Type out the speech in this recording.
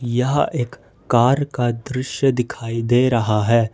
यह एक कार का दृश्य दिखाई दे रहा है।